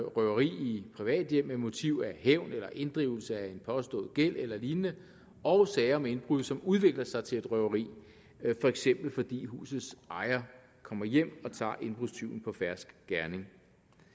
røveri i et privat hjem med motiv af hævn eller inddrivelse af en påstået gæld eller lignende og sager med indbrud som udvikler sig til et røveri for eksempel fordi husets ejer kommer hjem og tager indbrudstyven på fersk gerning